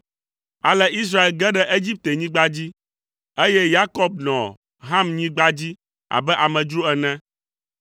Ale Israel ge ɖe Egiptenyigba dzi, eye Yakob nɔ Hamnyigba dzi abe amedzro ene.